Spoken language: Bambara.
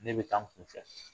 Ne bɛ taa n kunfɛ